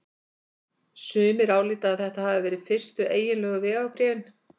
Sumir álíta að þetta hafi verið fyrstu eiginlegu vegabréfin.